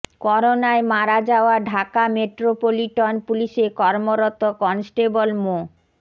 করোনায় মারা যাওয়া ঢাকা মেট্রোপলিটন পুলিশে কর্মরত কনস্টেবল মো